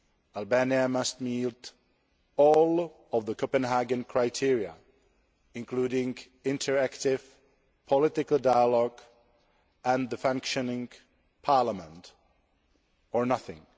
Albania must meet all the Copenhagen criteria, including interactive political dialogue and a functioning Parliament or nothing.